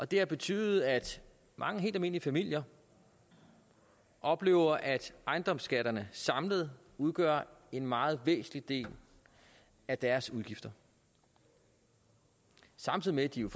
det har betydet at mange helt almindelige familier oplever at ejendomsskatterne samlet udgør en meget væsentlig del af deres udgifter samtidig med at de jo